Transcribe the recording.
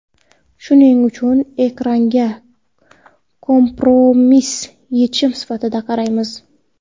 Shuning uchun ekranga kompromiss yechim sifatida qaraymiz.